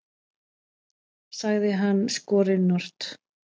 sagði hann skorinort.